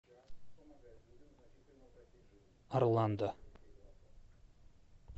орландо